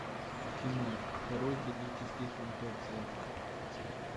кино второй трагический фантоцци